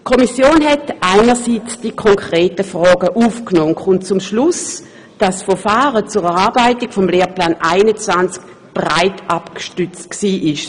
Die Kommission hat einerseits die konkreten Fragen aufgenommen und kommt zum Schluss, das Verfahren zur Erarbeitung des Lehrplans 21 sei breit abgestützt gewesen;